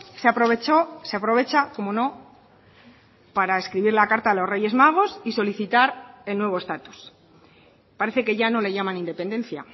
se aprovechó se aprovecha cómo no para escribir la carta a los reyes magos y solicitar el nuevo estatus parece que ya no le llaman independencia